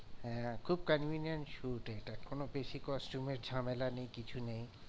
হ্যাঁ খুব convenience এটা কোনো বেশি costume ঝামেলা নেই কিছু নেই।